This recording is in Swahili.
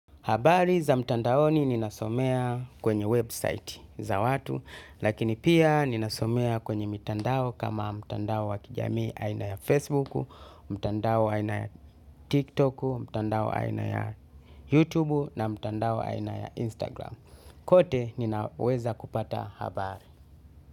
Habari za mtandaoni ninasomea kwenye website za watu, lakini pia ninasomea kwenye mtandao kama mtandao wa kijamii aina ya Facebook, mtandao aina ya TikTok, mtandao aina ya YouTube na mtandao aina ya Instagram. Kote ninaweza kupata habari.